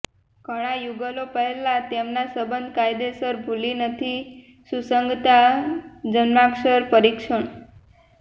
ઘણાં યુગલો પહેલાં તેમના સંબંધ કાયદેસર ભૂલી નથી સુસંગતતા જન્માક્ષર પરીક્ષણ